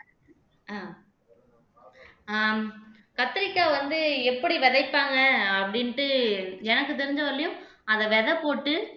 அஹ் ஆஹ் கத்தரிக்காய் வந்து எப்படி விதைப்பாங்க அப்படின்ட்டு எனக்கு தெரிஞ்ச வரையிலும் அதை விதை போட்டு